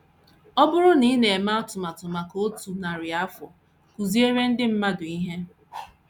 Ọ bụrụ na ị na - eme atụmatụ maka otu narị afọ, kụziere ndị mmadụ ihe. ”